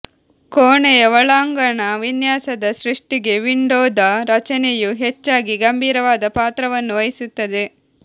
ಕೋಣೆಯ ಒಳಾಂಗಣ ವಿನ್ಯಾಸದ ಸೃಷ್ಟಿಗೆ ವಿಂಡೋದ ರಚನೆಯು ಹೆಚ್ಚಾಗಿ ಗಂಭೀರವಾದ ಪಾತ್ರವನ್ನು ವಹಿಸುತ್ತದೆ